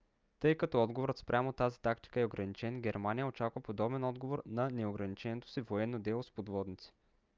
тъй като отговорът спрямо тази тактика е ограничен германия очаква подобен отговор на неограниченото си военно дело с подводници